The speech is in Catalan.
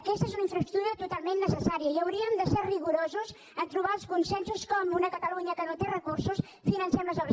aquesta és una infraestructura totalment necessària i hauríem de ser rigorosos a trobar els consensos de com una catalunya que no té recursos financem les obres